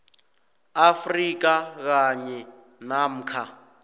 afrika kanye namkha